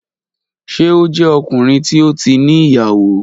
Ṣe o jẹ ọkunrin ti o ti ni iyawo?